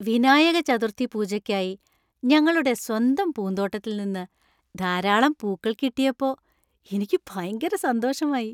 വിനായക ചതുർത്ഥി പൂജയ്ക്കായി ഞങ്ങളുടെ സ്വന്തം പൂന്തോട്ടത്തിൽ നിന്ന് ധാരാളം പൂക്കൾ കിട്ടിയപ്പോ എനിക്ക് ഭയങ്കര സന്തോഷമായി.